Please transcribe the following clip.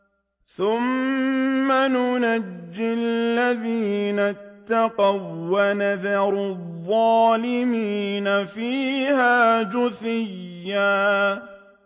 ثُمَّ نُنَجِّي الَّذِينَ اتَّقَوا وَّنَذَرُ الظَّالِمِينَ فِيهَا جِثِيًّا